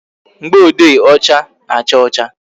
Mgboode ọcha na-acha ọcha